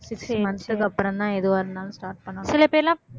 six months க்கு அப்புறம்தான் எதுவா இருந்தாலும் start பண்ணுவாங்க.